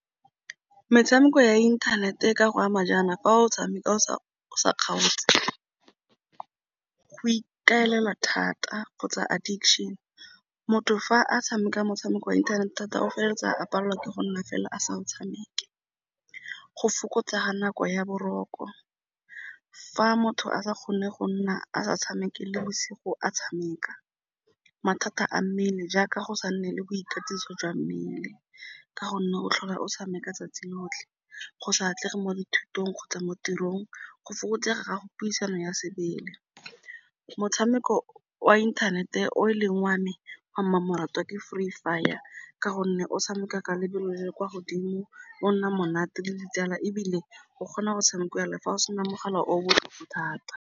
Metshameko ya internet e ka go ama jaana fa o tshameka o sa sa kgaotse go ikaelela thata kgotsa addiction, motho fa a tshameka motshameko wa inthanete thata o feleletsa a palelwa ke go nna fela a sa o tshameke. Go fokotsa ga nako ya boroko, fa motho a sa kgone go nna a sa tshameke le bosigo a tshameka. Mathata a mmele, jaaka go sa nne le boikatiso jwa mmele ka gonne go tlhola o tshameka 'tsatsi lotlhe, go sa atlege mo dithutong kgotsa mo tirong, go fokotsega gago puisano ya sebele. Motshameko wa inthanete o leng wa me wa mmamoratwa ke Free Fire ka gonne o tshameka ka lebelo le le kwa godimo, o nna monate le ditsala ebile o kgona go tshamekiwa le fa go sena mogala o thata.